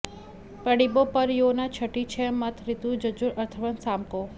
पढिबो पर् यो न छठी छ मत रिगु जजुर अथर्वन सामको